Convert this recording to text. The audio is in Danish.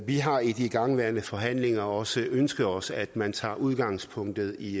vi har i de igangværende forhandlinger også ønsket os at man tager udgangspunkt i